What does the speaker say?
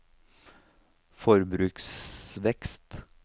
forbruksvekst